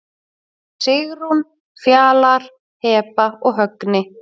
Sigrún, Fjalar, Heba og Högni.